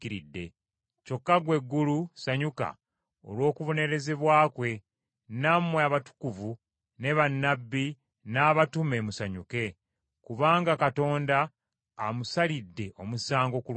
“Kyokka ggwe eggulu ssanyuka olw’okubonerezebwa kwe, nammwe abatukuvu ne bannabbi n’abatume musanyuke. Kubanga Katonda amusalidde omusango ku lwammwe.”